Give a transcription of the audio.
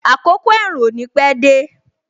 Àkọ́kọ́ ẹ̀rùn ò ní pẹ dé